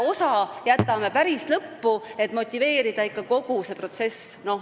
Osa tasust me jätame päris lõppu, et motiveerida teda ikka kogu seda lubadust ellu viima.